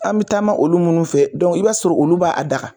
An bi taa maa olu munnu fɛ i b'a sɔrɔ olu b'a daga .